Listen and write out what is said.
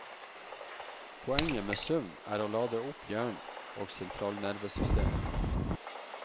Poenget med søvn er å lade opp hjernen og sentralnervesystemet.